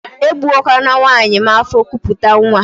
E gbuwakwala nwaanyị m afọ kupute nwa!